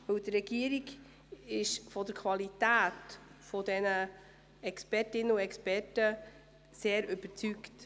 Die Regierung ist von der Qualität der Expertinnen und Experten sehr überzeugt.